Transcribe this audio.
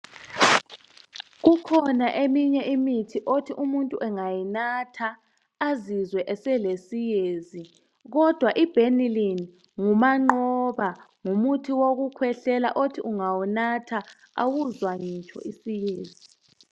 Kukhona eminye imithi othi umuntu engayinatha azizwe esele siyezi kodwa ibenylin ngumanqoba. Ngumuthi wokukwehlela othi ungawunatha awuzwa ngitsho isiyezi.